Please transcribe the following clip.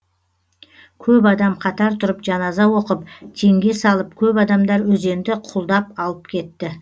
көп адам қатар тұрып жаназа оқып теңге салып көп адамдар өзенді құлдап алып кетті